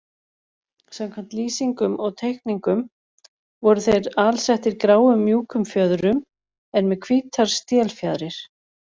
Samkvæmt lýsingum og teikningum voru þeir alsettir gráum mjúkum fjöðrum en með hvítar stélfjaðrir.